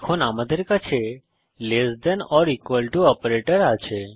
এখন আমাদের কাছে less than or equal to operator আছে